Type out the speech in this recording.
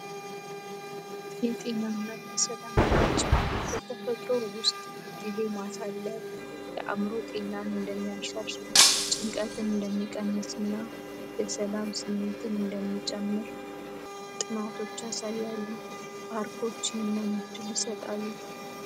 የጤና እና የሰላም ነንጭ በተፈጥሮ ውስጥ ጊዜ ማሳለፍ የአምሮ ጤናን እንደሚያርሳሽ ጭንቀትን እንደሚቀንስና የሰላም ስሜትን እንደሚጨምር ጥናቶቻ ሳይ ያሉ ፓርኮች ይህንን እድል ይሰጣሉ።